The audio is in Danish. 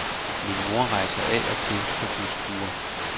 Min mor rejser af og til på busture.